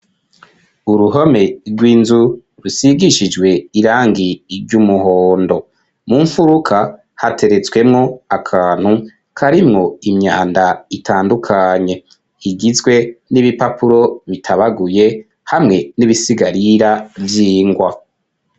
Uruhome rw'inzu, rusigishijwe irangi, ry'umuhondo; mu mfuruka, hateretswemwo akantu, karimwo imyanda, itandukanye; igizwe n'ibipapuro bitabaguye, hamwe n'ibisigarira, vy'ingwa.